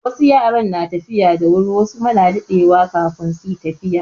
Wasu yara na tafiya da wuri wasu kuma na daɗewa kafin su yi tafiya.